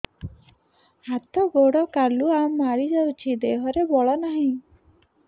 ହାତ ଗୋଡ଼ କାଲୁଆ ମାରି ଯାଉଛି ଦେହରେ ବଳ ନାହିଁ